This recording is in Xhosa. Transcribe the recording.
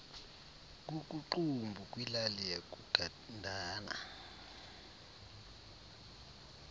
kukuqumbu kwilali yakugandana